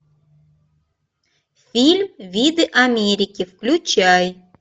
фильм виды америки включай